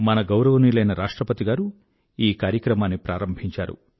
మన గౌరవనీయులైన రాష్ట్రపతి గారు ఈ కార్యక్రమాన్ని ప్రారంభించారు